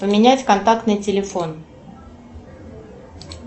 поменять контактный телефон